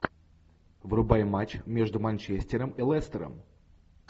врубай матч между манчестером и лестером